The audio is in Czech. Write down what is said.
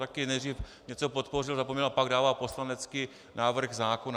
Taky nejdřív něco podpořil, zapomněl a pak dává poslanecký návrh zákona.